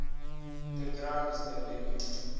the ground is the limit